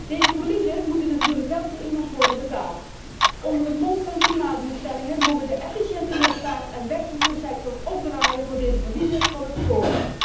Deze verliezen moeten natuurlijk wel door iemand worden betaald. Onder het mom van de klimaatdoelstellingen mogen de efficiënte luchtvaartsector en de wegvervoersector opdraaien voor deze verliezen van het spoor.